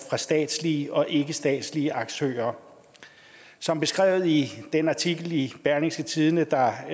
fra statslige og ikkestatslige aktører som beskrevet i den artikel i berlingske tidende der